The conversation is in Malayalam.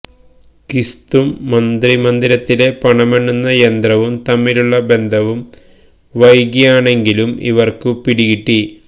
കിസ്തും മന്ത്രി മന്ദിരത്തിലെ പണമെണ്ണുന്ന യന്ത്രവും തമ്മിലുള്ള ബന്ധവും വൈകിയാണെങ്കിലും ഇവര്ക്ക് പിടികിട്ടി